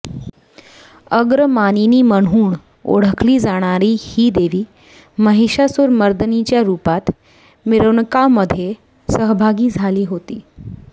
अग्रमानिनी म्हणून ओळखली जाणारी ही देवी महिषासुरमर्दिनीच्या रुपात मिरवणूकामध्ये सहभागी झाली होती